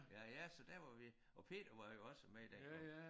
Ja ja så der var vi og Peter var jo også med dengang